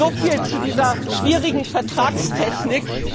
So viel zu dieser schwierigen Vertragstechnik.